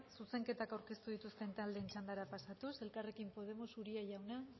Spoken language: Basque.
zuzenketa aurkeztu dituzte taldeen txandara pasatuz elkarrekin podemos uria jauna